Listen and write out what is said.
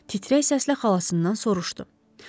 Titrək səslə xalasından soruşdu: